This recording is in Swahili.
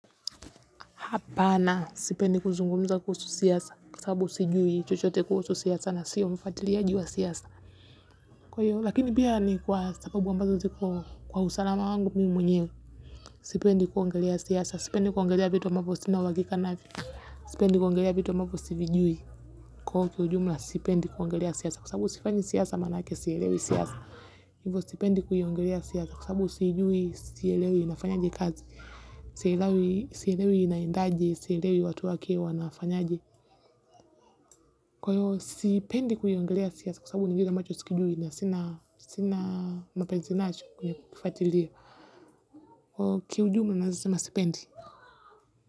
Hapana sipendi kuzungumza kuhusu siasa kwasababu sijui chochote kuhusu siasa na sio mfuatiliaji wa siasa. Kwa hiyo lakini pia ni kwa sababu ambazo ziko kwa usalama wangu mi mwenyewe sipendi kuongelea siasa sipendi kuongelea vitu ambavyo sina uhakika navyo. Sipendi kuongelea vitu ambavo sivijui kwa huo kiujumla sipendi kuongelea siasa kwasabu sifanyi siasa maanake sielewi siasa. Hivyo sipendi kuiongelea siasa kwasababu siijui, sielewi inafanyaje kazi, sielewi inaendaje, sielewi watu wake wanafanyaje. Kwa hivo sipendi kuiongelea siasa kwasababu nivile ambacho sikijui na sina mapenzi nacho kwenye kuifatiliya. Kwa hivyo kiujumula naezasema sipendi.